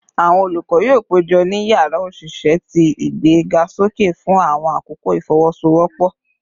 Awọn olukọ yoo pejọ ni yara oṣiṣẹ ti igbegasoke fun awọn akoko ifowosowopo